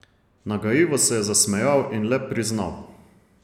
Nagajivo se je zasmejal in le priznal.